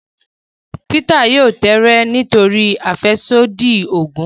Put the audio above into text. Peter yóò tẹẹrẹ nítorí afẹsodi oògùn